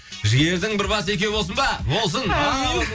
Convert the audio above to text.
жігердің бір басы екеу болсын ба болсын әумин